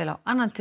vel á annan tug